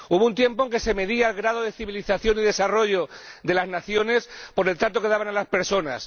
Hubo un tiempo en que se medía el grado de civilización y desarrollo de las naciones por el trato que daban a las personas